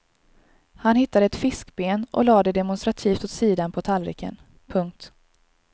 Han hittade ett fiskben och lade det demonstrativt åt sidan på tallriken. punkt